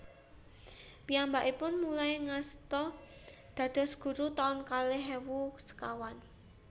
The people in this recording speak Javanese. Piyambakipun mulai ngasta dados guru taun kalih ewu sekawan